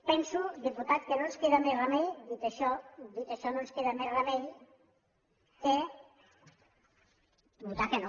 penso diputat que no ens queda més remei dit això dit això no ens queda més remei que votar que no